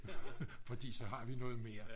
fordi så har vi noget mere